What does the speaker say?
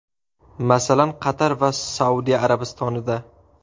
Masalan, Qatar va Saudiya Arabistonida.